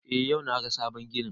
Eh yau na ga sabon ginin